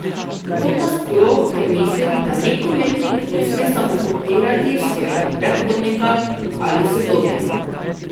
To pa sploh, ker mislim, da nek umetnik ne sme samo kopirati svojega predhodnika ali sodobnika.